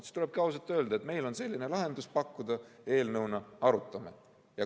Siis tulebki ausalt öelda, et meil on eelnõuna selline lahendus pakkuda, arutame seda.